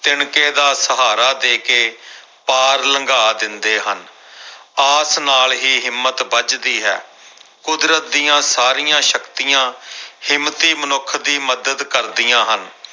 ਤਿਣਕੇ ਦਾ ਸਹਾਰਾ ਦੇ ਕੇ ਪਾਰ ਲੰਘਾ ਦਿੰਦੇ ਹਨ ਆਸ ਨਾਲ ਹੀ ਹਿੰਮਤ ਬੱਝਦੀ ਹੈ ਕੁਦਰਤ ਦੀਆਂ ਸਾਰੀਆਂ ਸ਼ਕਤੀਆਂ ਹਿੰਮਤੀ ਮਨੁੱਖ ਦੀ ਮਦਦ ਕਰਦੀਆਂ ਹਨ।